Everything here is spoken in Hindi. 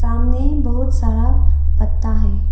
सामने बहुत सारा पत्ता हैं।